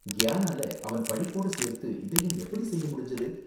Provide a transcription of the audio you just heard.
கியானால அவன் படிப்போட சேர்த்து இதையும் எப்படி செய்ய முடிஞ்சது?